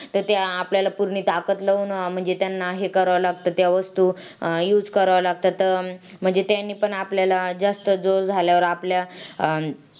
खूप वेगवेगळ्या प पद्धतीने अ पद्धतीचे वातावरण निर्माण होते .की